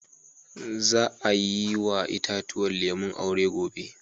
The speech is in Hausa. Za a yi wa itatuwan lemu aure gobe.